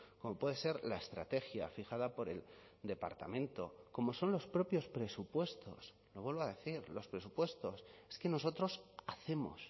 como puede ser la estrategia fijada por el departamento como son los propios presupuestos lo vuelvo a decir los presupuestos es que nosotros hacemos